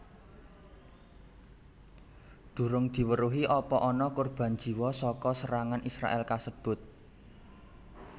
Durung diweruhi apa ana kurban jiwa saka serangan Israèl kasebut